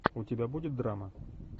у тебя будет драма